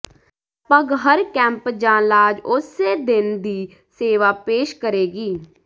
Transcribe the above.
ਲਗਪਗ ਹਰ ਕੈਂਪ ਜਾਂ ਲਾਜ ਉਸੇ ਦਿਨ ਦੀ ਸੇਵਾ ਪੇਸ਼ ਕਰੇਗੀ